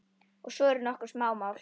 Og svo eru nokkur smámál.